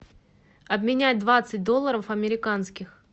обменять двадцать долларов американских